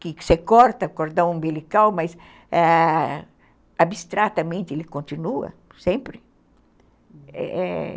que você corta o cordão umbilical, mas, abstratamente, ele continua, sempre.